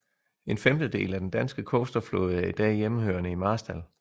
En femtedel af den danske coasterflåde er i dag hjemmehørende i Marstal